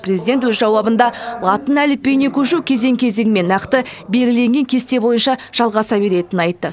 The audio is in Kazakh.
президент өз жауабында латын әліпбиіне көшу кезең кезеңмен нақты белгіленген кесте бойынша жалғаса беретінін айтты